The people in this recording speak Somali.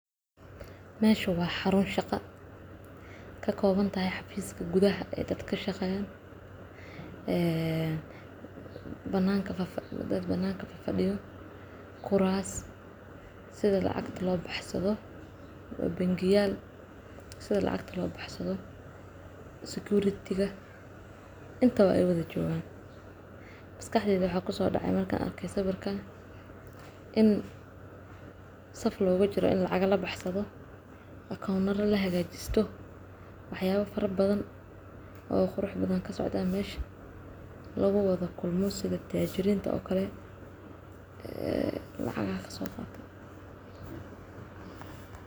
meshaan waa xuruun shaqa kakooban tahay xaruunta gudaha ee dadka kashaqeeyan iyo dadkan banaaka fafadiyo kuraas sidi lacagta loo baxsado oo bangiyaal sidi lacagta loo baxsado security ga inta ba ay wada joogan masakaxdeyda waxaa kusodhece markaan arke sawirkan in sf loogu jiro in lacag labaxsado account lagahaajisto waxyaaba fara badan oo qurux badan kasocdaan mesha laguwada kulmo sidi tajiriinta oo kale ee lacagaha lasoo qaato.